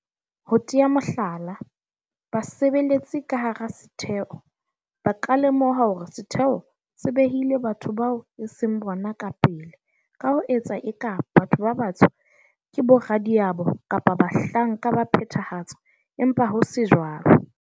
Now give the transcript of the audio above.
Ho tea mohlala, basebeletsi ka hara setheo ba ka lemoha hore setheo se behile batho bao e seng bona ka pele ka ho etsa eka batho ba batsho ke boradiabo kapa bahlanka ba phethahatso empa ho se jwalo.